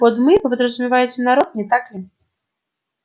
под мы вы подразумеваете народ не так ли